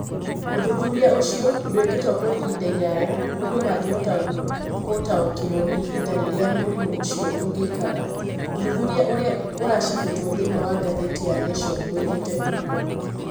Ũthuthuria ũcio ndũĩkĩtũo kwa ihinda iraya ũndũ mangĩhota gũtaũkĩrũo nĩ ihinda rĩrĩa mũrimũ ũcio ũngĩikara, Ũthuthuria ũrĩa ũracabĩtwo thĩinĩ wa ngathĩti ya Nation woigĩte ũguo